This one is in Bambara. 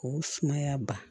K'u sumaya ba